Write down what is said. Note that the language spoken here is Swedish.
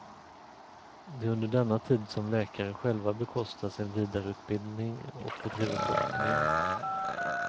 Det är under denna tid som läkare själva bekostar sin vidareutbildning och bedriver forskning.